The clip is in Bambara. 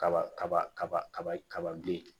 Kaba kaba kaba kaba kaba den